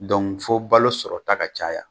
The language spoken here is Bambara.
fɔ balo sɔrɔta ka caya.